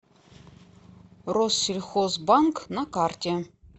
россельхозбанк на карте